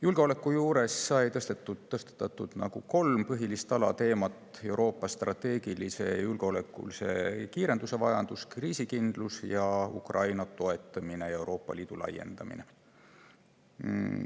Julgeoleku juures sai tõstatatud põhilist alateemat: Euroopa strateegilise ja julgeolekulise kiirenduse vajadus, kriisikindlus ning Ukraina toetamine ja Euroopa Liidu laiendamine.